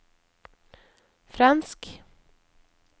fransk